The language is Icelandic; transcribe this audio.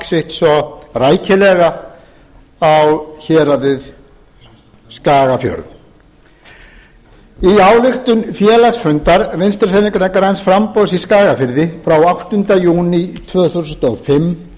sitt svo rækilega á héraðið skagafjörð í ályktun félagsfundar vinstri hreyfingarinnar græns framboðs í skagafirði frá áttunda júní tvö þúsund og fimm